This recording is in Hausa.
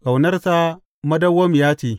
Ƙaunarsa madawwamiya ce.